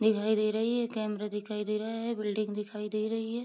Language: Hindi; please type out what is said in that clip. दिखाई दे रही है ये कैमरा दिखाई दे रहा है ये बिल्डिंग दिखाई दे रही है।